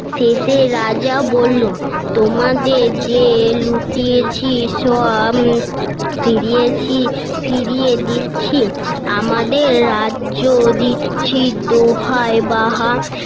শেষে রাজা বললো তোমাদের যে লুটিয়েছি সব ফিরিয়েছি ফিরিয়ে দিচ্ছি আমাদের রাজ্য দিচ্ছি দোহায় বাবা